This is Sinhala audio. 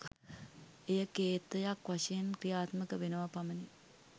එය කේතයක් වශයෙන් ක්‍රියාත්මක වෙනවා පමණි.